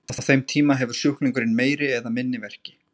Á þeim tíma hefur sjúklingurinn meiri eða minni verki.